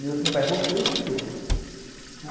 Meu pai voltou e eu fiquei.